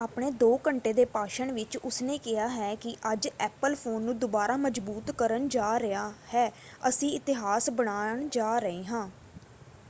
ਆਪਣੇ ਦੋ ਘੰਟੇ ਦੇ ਭਾਸ਼ਣ ਵਿੱਚ ਉਸਨੇ ਕਿਹਾ ਹੈ ਕਿ ਅੱਜ ਐਪਲ ਫੋਨ ਨੂੰ ਦੁਬਾਰਾ ਮਜ਼ਬੂਤ ਕਰਨ ਜਾ ਰਿਹਾ ਹੈ ਅਸੀਂ ਇਤਿਹਾਸ ਬਣਾ ਜਾ ਰਹੇ ਹਾਂ।